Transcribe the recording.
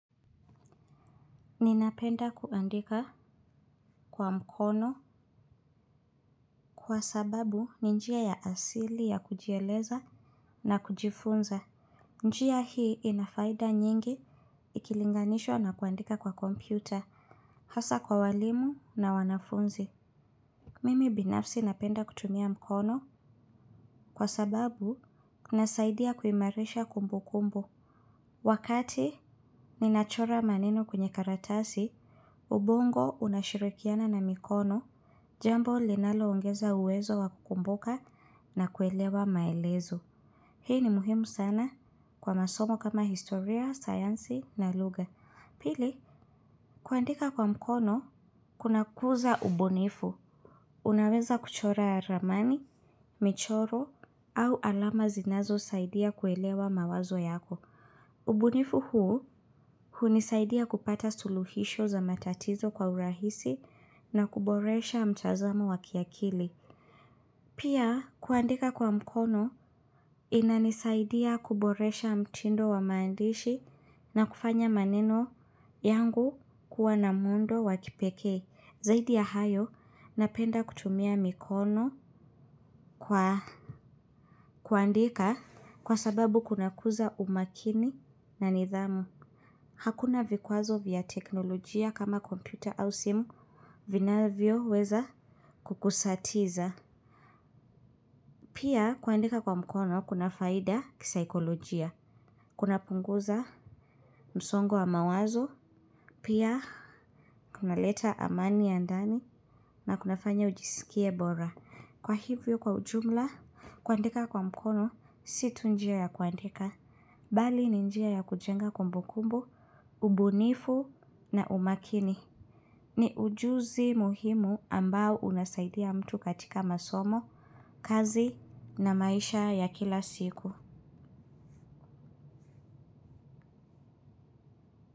Ninapenda kuandika kwa mkono kwa sababu ni njia ya asili ya kujieleza na kujifunza. Njia hii inafaida nyingi ikilinganishwa na kuandika kwa kompyuta, hasa kwa walimu na wanafunzi. Mimi binafsi napenda kutumia mkono kwa sababu inasaidia kuimarisha kumbu kumbu. Wakati ninachora maneno kwenye karatasi, ubongo unashirikiana na mikono jambo linaloongeza uwezo wa kukumbuka na kuelewa maelezo. Hii ni muhimu sana kwa masomo kama historia, sayansi na lugha. Pili kuandika kwa mkono kunakuza ubunifu. Unaweza kuchora ramani, michoro au alama zinazosaidia kuelewa mawazo yako. Ubunifu huu hunisaidia kupata suluhisho za matatizo kwa urahisi na kuboresha mtazamo wa kiakili. Pia kuandika kwa mkono inanisaidia kuboresha mtindo wa maandishi na kufanya maneno yangu kuwa na muundo wa kipekee. Zaidi ya hayo napenda kutumia mikono kwa kuandika kwa sababu kunakuza umakini na nidhamu. Hakuna vikwazo vya teknolojia kama kompyuta au simu vinavyoweza kukusatiza. Pia kuandika kwa mkono kuna faida kisaikolojia. Kunapunguza msongo wa mawazo, pia kunaleta amani ya ndani, na kunafanya ujiskie bora. Kwa hivyo kwa ujumla kuandika kwa mkono si tu njia ya kuandika, bali ni njia ya kujenga kumbukumbu, ubunifu na umakini. Ni ujuzi muhimu ambao unasaidia mtu katika masomo, kazi na maisha ya kila siku.